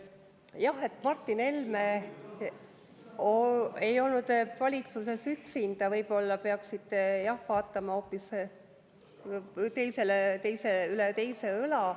Jah, aga Martin Helme ei olnud valitsuses üksinda, võib-olla peaksite vaatama hoopis üle teise õla.